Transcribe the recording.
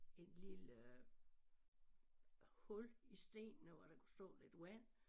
En lille hul i stenene hvor der kunne stå lidt vand